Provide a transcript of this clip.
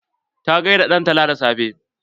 Ta gaida dantala da safe.